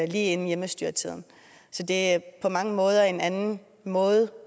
lige inden hjemmestyretiden så det er på mange måder en anden måde